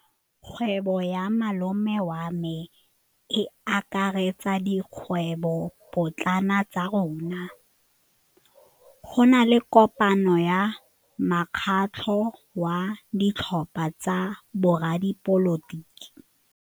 Kgwêbô ya malome wa me e akaretsa dikgwêbôpotlana tsa rona. Go na le kopanô ya mokgatlhô wa ditlhopha tsa boradipolotiki.